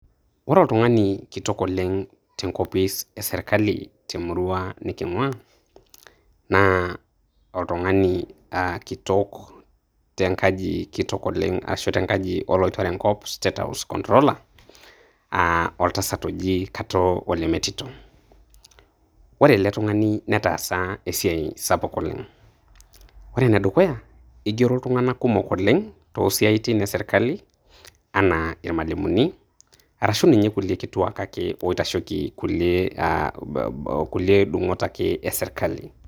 Ore oltung'ani kitok oleng' tenkopis esirkali temurua niking'ua, na oltung'ani kitok tenkaji kitok oleng' ashu tenkaji oloitore enkop, state house controller ,oltasat oji Katoo Ole Metito. Ole ele tung'ani netaasa esiai sapuk oleng'. Ore enedukuya, igero iltung'anak kumok Oleng',tosiaitin esirkali, anaa ilmalimuni, arashu ninye kulie kituak ake oitasheki kulie dung'ot ake esirkali.